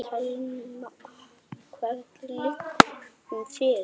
Telma: Hvenær liggur hún fyrir?